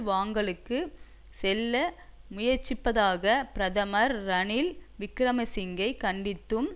வாங்கல்களுக்கு செல்ல முயற்சிப்பதாக பிரதமர் ரணில் விக்கிரமசிங்கை கண்டிக்கும்